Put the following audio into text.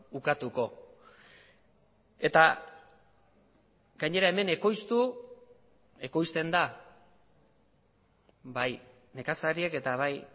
ukatuko eta gainera hemen ekoiztu ekoizten da bai nekazariek eta bai